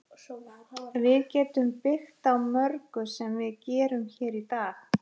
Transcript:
Við getum byggt á mörgu sem við gerum hér í dag.